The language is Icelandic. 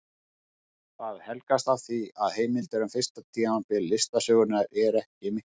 Það helgast af því að heimildir um fyrsta tímabil listasögunnar eru ekki miklar.